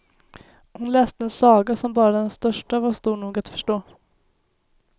Hon läste en saga som bara den största var stor nog att förstå.